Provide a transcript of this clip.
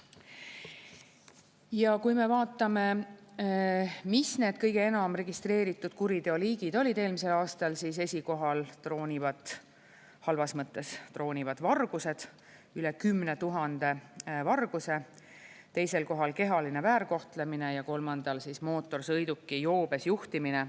Ja kui me vaatame, mis need kõige enam registreeritud kuriteoliigid olid eelmisel aastal, siis esikohal troonivad – halvas mõttes troonivad – vargused, üle 10 000 varguse, teisel kohal on kehaline väärkohtlemine ja kolmandal mootorsõiduki joobes juhtimine.